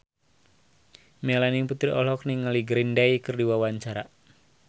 Melanie Putri olohok ningali Green Day keur diwawancara